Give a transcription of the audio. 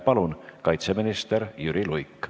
Palun, kaitseminister Jüri Luik!